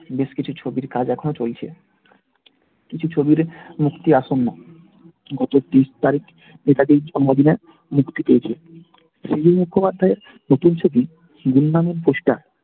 বেশ কিছু ছবির কাজ এখনও চলছে। কিছু ছবির মুক্তি অসন্ন্য। ত্রিশ তারিখ নেতাজির জন্মদিনে মুক্তি পেয়েছে। মুখোপাধ্যায়ের নতুন ছবি